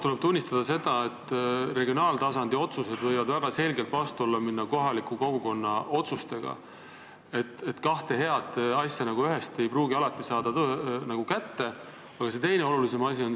Tuleb tunnistada, et regionaaltasandi otsused võivad väga selgelt vastuollu minna kohaliku kogukonna otsustega – kahte head asja korraga ei pruugi alati saada.